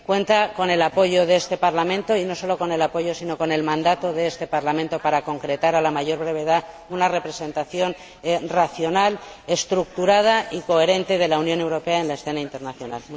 Cuenta con el apoyo de este Parlamento, y no solo con el apoyo, sino con el mandato de este Parlamento para concretar a la mayor brevedad una representación racional, estructurada y coherente de la Unión Europea en la escena internacional.